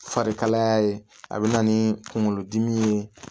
Farikalaya ye a bɛ na ni kunkolodimi ye